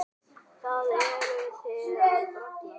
Hvað eruð þið að bralla?